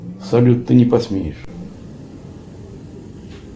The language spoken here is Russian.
салют ты не посмеешь